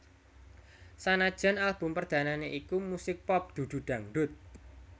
Sanajan album perdanane iku musik pop dudu dangdut